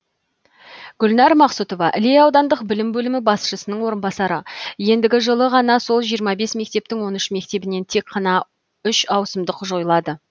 гүлнар мақсұтова іле аудандық білім бөлімі басшысының орынбасары ендігі жылы ғана сол жиырма бес мектептің он үш мектебінен тек қана үш ауысымдық жойылады